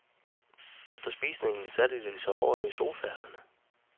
Efter spisningen satte de sig over i sofaerne.